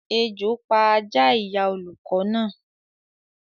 Ejò pa Ajá ìyá olùkọ́ náà